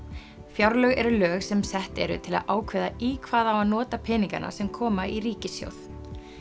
fjárlög eru lög sem sett eru til að ákveða í hvað á að nota peningana sem koma í ríkissjóð